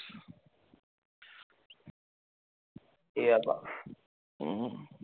এই ব্যাপার